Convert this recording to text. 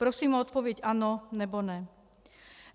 Prosím o odpověď ano, nebo ne.